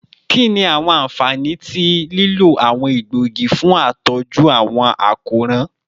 Kini awọn anfani ti lilo awọn egboogi fun atọju awọn akoran?